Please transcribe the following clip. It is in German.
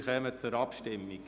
Wir kommen zur Abstimmung.